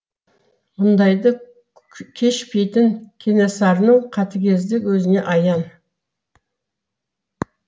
мұндайды кешпейтін кенесарының қатыгездігі өзіне аян